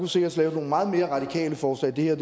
sikkert laves nogle meget mere radikale forslag det her